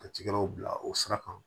Ka cikɛlaw bila o sira kan